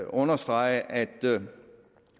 understrege at